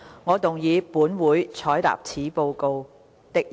我動議"本會採納此報告"的議案。